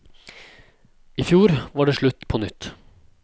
I fjor var det slutt på nytt.